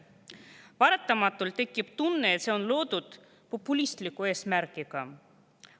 Paratamatult tekib tunne, et see on loodud populistliku eesmärgiga.